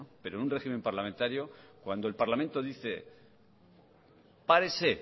pero en un régimen parlamentario cuando el parlamento dice párese